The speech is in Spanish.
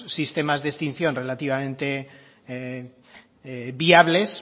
sistemas de extinción relativamente viables